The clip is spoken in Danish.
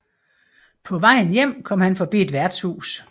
På vejen hjem kom han forbi et værtshus